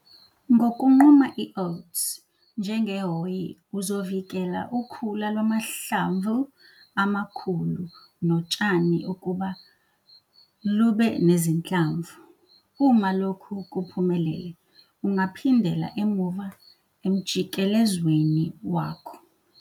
Ngokunquma i-oats njengehhoyi uzovikela ukhula lwamahlamvu amakhulu notshani ukuba lube nezinhlamvu. Uma lokhu kuphumelele ungaphindela emuva emjikelezweni wakho.